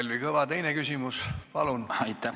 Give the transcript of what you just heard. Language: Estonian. Kalvi Kõva, teine küsimus, palun!